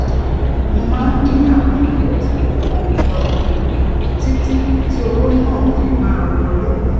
mo máa ń dín àwọn ìnáwó tí kò pọn dandan kù títí tí owó náà fi máa wọlé